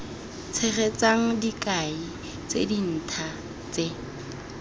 tshegetsang dikai tse dintha tse